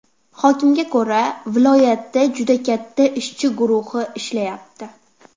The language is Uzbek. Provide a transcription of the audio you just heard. Hokimga ko‘ra viloyatda juda katta ishchi guruhi ishlayapti.